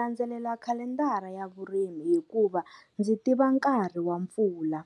Landzelela khalendara ya vurimi, hikuva ndzi tiva nkarhi wa mpfula